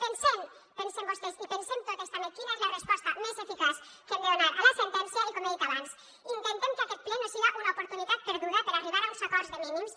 pensen vostès i pensem totes també quina és la resposta més eficaç que hem de donar a la sentència i com he dit abans intentem que aquest ple no siga una oportunitat perduda per arribar a uns acords de mínims